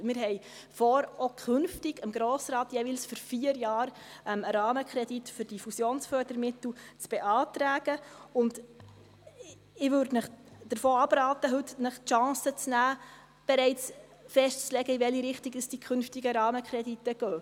Wir haben vor, auch künftig dem Grossen Rat jeweils für vier Jahre einen Rahmenkredit für die Fusionsfördermittel zu beantragen, und ich würde ihnen davon abraten, sich heute die Chance zu nehmen, bereits festzulegen, in welche Richtung die künftigen Rahmenkredite gehen.